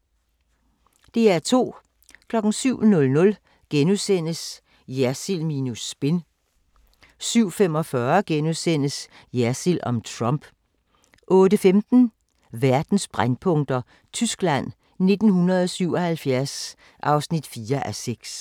DR2